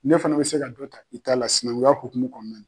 Ne fana bɛ se ka dɔ ta i ta la sinankunya hukumu kɔnɔna.